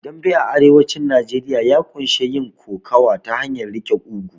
Dambe a arewacin Najeriya ya ƙunshi yin kokowa ta hanyar riƙe ƙugu